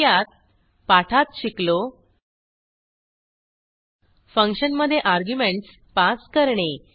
थोडक्यात पाठात शिकलो फंक्शनमधे अर्ग्युमेंटस पास करणे